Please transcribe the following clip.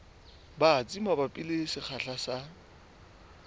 batsi mabapi le sekgahla sa